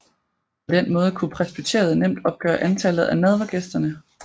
På den måde kunne presbyteriet nemt opgøre antallet af nadvergæsterne